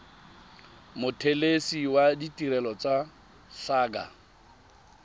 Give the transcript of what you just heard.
mothelesi wa ditirelo tsa saqa